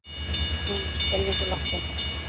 Hún er skelfingu lostin.